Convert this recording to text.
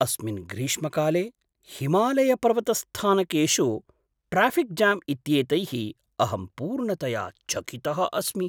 अस्मिन् ग्रीष्मकाले हिमालयपर्वतस्थानकेषु ट्राफ़िक् जाम् इत्येतैः अहं पूर्णतया चकितः अस्मि!